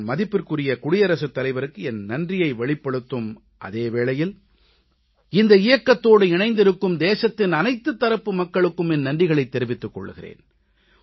நான் மதிப்பிற்குரிய குடியரசுத் தலைவருக்கு என் நன்றியை வெளிப்படுத்தும் அதே வேளையில் இந்த இயக்கத்தோடு இணைந்திருக்கும் தேசத்தின் அனைத்துத் தரப்பு மக்களுக்கும் என் நன்றிகளைத் தெரிவித்துக் கொள்கிறேன்